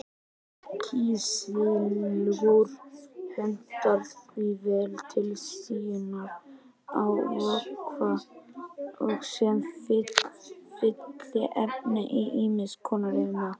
Kísilgúr hentar því vel til síunar á vökva og sem fylliefni í ýmis konar iðnaði.